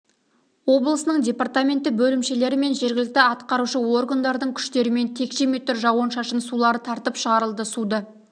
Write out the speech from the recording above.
облысының департаменті бөлімшелері мен жергілікті атқарушы органдардың күштерімен текше метр жауын-шашын сулары тартып шығарылды суды